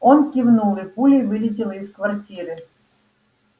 он кивнул и пулей вылетел из квартиры